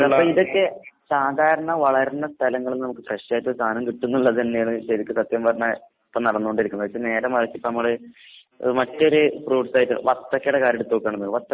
അല്ല അപ്പയിതൊക്കെ സാധാരണ വളരണ സ്ഥലങ്ങള്ന്ന് നമുക്ക് ഫ്രഷായിട്ട്ള്ള സാനം കിട്ടുംന്നിള്ളതന്നേണ് ശെരിക്ക് സത്യം പറഞ്ഞാ ഇപ്പ നടന്നോണ്ടിരിക്ക്ന്നത്. എച്ചാ നേരെ മറിച്ചിപ്പമ്മള് എഹ് മറ്റൊരു ഫ്രൂട്ട്സായിട്ട് വത്തക്കേടെ കാര്യെടുത്തോക്കാണെന്ന്.